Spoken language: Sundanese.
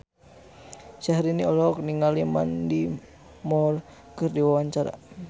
Syahrini olohok ningali Mandy Moore keur diwawancara